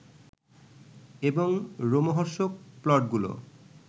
এবং রোমহর্ষক প্লটগুলো